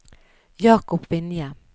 Jacob Vinje